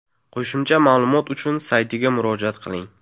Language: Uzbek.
Qo‘shimcha ma’lumot uchun saytiga murojaat qiling.